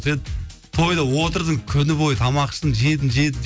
сен тойда отырдың күні бойы тамақ іштің жедің жедің